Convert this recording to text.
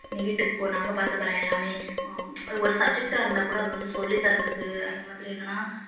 நீ வீட்டுக்கு போ நாங்க பாத்துக்கறோம் எல்லாமே ஒரு subject ஆ இருந்தாக்கூட அது வந்து சொல்லி தர்றதுக்கு அதே மாதிரி என்னன்னா